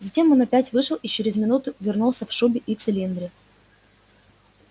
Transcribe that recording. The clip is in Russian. затем он опять вышел и через минуту вернулся в шубе и в цилиндре